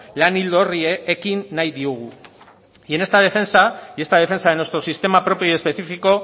lan ildo horri ekin nahi diogu y en esta defensa de nuestro sistema propio y específico